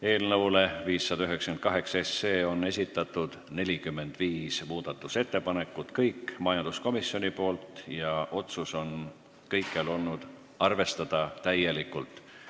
Eelnõu 598 kohta on esitatud 45 muudatusettepanekut, kõik need on majanduskomisjonilt ja otsus on üks: arvestada täielikult.